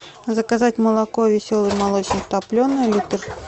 заказать молоко веселый молочник топленое литр